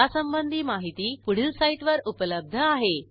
यासंबंधी माहिती पुढील साईटवर उपलब्ध आहे